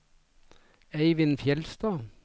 Eivind Fjellstad